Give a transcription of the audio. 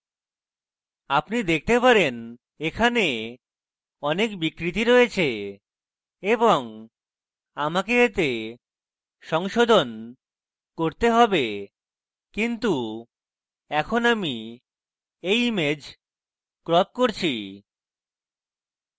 আপনি দেখতে পারেন এখানে অনেক বিকৃতি রয়েছে এবং আমাকে এতে সংশোধন করতে have কিন্তু এখন আমি you image ক্রপ করছি